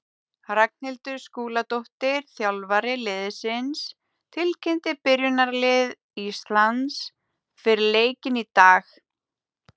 Ragnhildur Skúladóttir, þjálfari liðsins, tilkynnti byrjunarlið Íslands fyrir leikinn í dag.